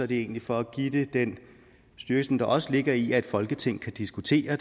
det er egentlig for at give det den styrke som der også ligger i at et folketing kan diskutere